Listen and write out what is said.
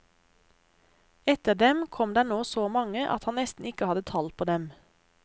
Etter dem kom der nå så mange at han nesten ikke hadde tall på dem.